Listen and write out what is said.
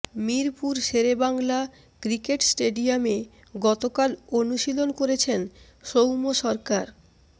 Mirpur Sher e Bangla cricket স্টেডিয়ামে গতকাল অনুশীলন করেছেন সৌম্য সরকার